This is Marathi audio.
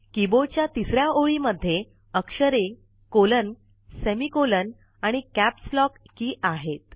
कीबोर्डच्या तिसऱ्या ओळी मध्ये अक्षरे कोलन सेमिकॉलन आणि कॅप्स लॉक की आहेत